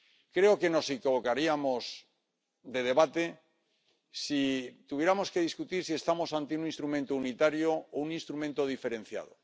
Creo que nos equivocaríamos de debate si tuviéramos que discutir si estamos ante un instrumento unitario o un instrumento diferenciado.